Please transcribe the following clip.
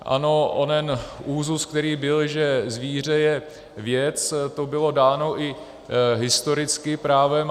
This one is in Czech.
Ano, onen úzus, který byl, že zvíře je věc, to bylo dáno i historicky právem.